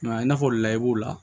Mɛ i n'a fɔ layi b'o la